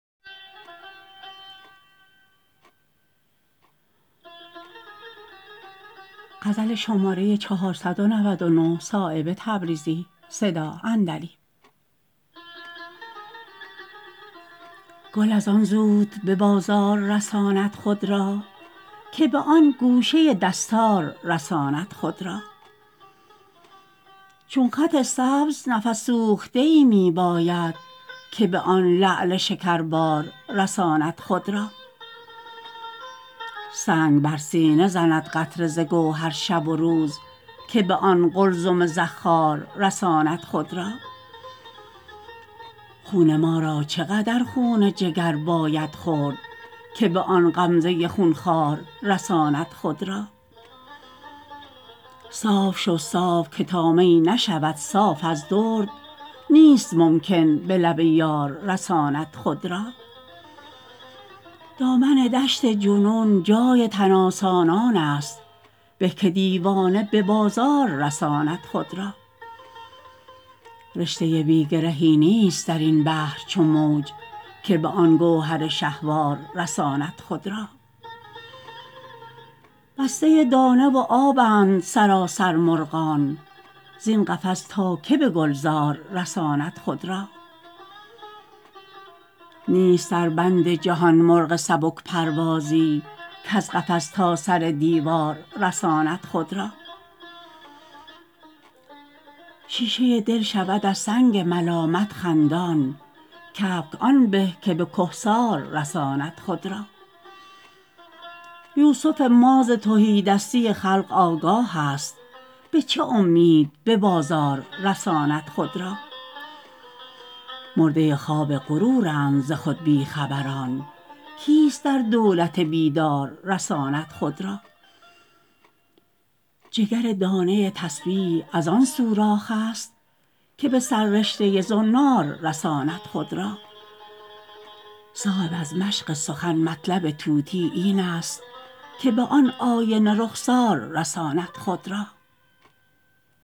گل ازان زود به بازار رساند خود را که به آن گوشه دستار رساند خود را چون خط سبز نفس سوخته ای می باید که به آن لعل شکربار رساند خود را سنگ بر سینه زند قطره ز گوهر شب و روز که به آن قلزم زخار رساند خود را خون ما را چه قدر خون جگر باید خورد که به آن غمزه خونخوار رساند خود را صاف شو صاف که تا می نشود صاف از درد نیست ممکن به لب یار رساند خود را دامن دشت جنون جای تن آسانان است به که دیوانه به بازار رساند خود را رشته بی گرهی نیست درین بحر چو موج که به آن گوهر شهوار رساند خود را بسته دانه و آبند سراسر مرغان زین قفس تا که به گلزار رساند خود را نیست در بند جهان مرغ سبک پروازی کز قفس تا سر دیوار رساند خود را شیشه دل شود از سنگ ملامت خندان کبک آن به که به کهسار رساند خود را یوسف ما ز تهیدستی خلق آگاه است به چه امید به بازار رساند خود را مرده خواب غرورند ز خود بی خبران کیست در دولت بیدار رساند خود را جگر دانه تسبیح ازان سوراخ است که به سررشته زنار رساند خود را صایب از مشق سخن مطلب طوطی این است که به آن آینه رخسار رساند خود را